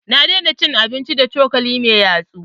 Na daina cin abinci da cokali mai yatsu